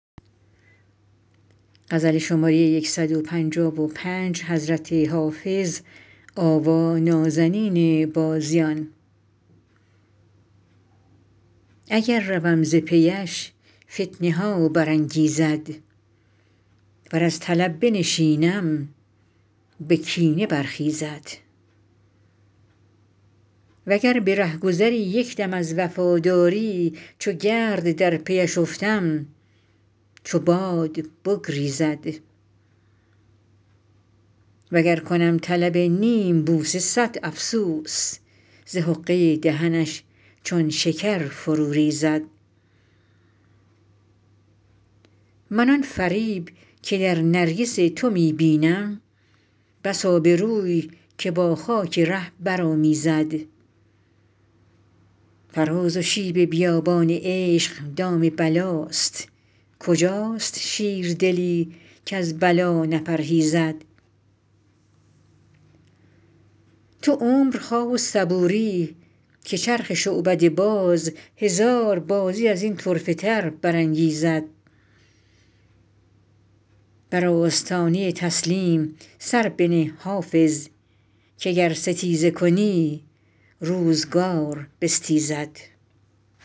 اگر روم ز پی اش فتنه ها برانگیزد ور از طلب بنشینم به کینه برخیزد و گر به رهگذری یک دم از وفاداری چو گرد در پی اش افتم چو باد بگریزد و گر کنم طلب نیم بوسه صد افسوس ز حقه دهنش چون شکر فرو ریزد من آن فریب که در نرگس تو می بینم بس آبروی که با خاک ره برآمیزد فراز و شیب بیابان عشق دام بلاست کجاست شیردلی کز بلا نپرهیزد تو عمر خواه و صبوری که چرخ شعبده باز هزار بازی از این طرفه تر برانگیزد بر آستانه تسلیم سر بنه حافظ که گر ستیزه کنی روزگار بستیزد